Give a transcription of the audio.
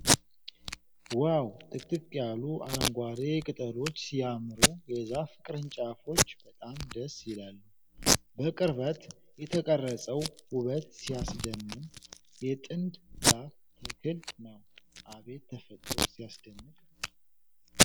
ዋው! ጥቅጥቅ ያሉ አረንጓዴ ቅጠሎች ሲያምሩ! የዛፉ ቅርንጫፎች በጣም ደስ ይላሉ። በቅርበት የተቀረፀው ውበት ሲያስደምም። የጥድ ዛፍ ተክል ነው። አቤት ተፈጥሮ ሲያስደንቅ!